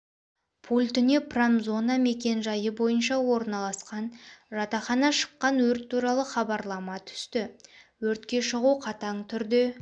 пультіне промзона мекен-жайы бойынша орналасқан жатақханада шыққан өрт туралы хабарлама түсті өртке шығу қатаң түрде